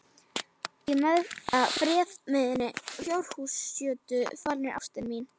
Í freðinni fjárhússjötu falin er ástin mín.